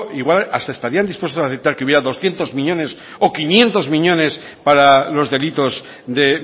igual hasta estarían dispuestos aceptar que hubiera doscientos miñones o quinientos miñones para los delitos de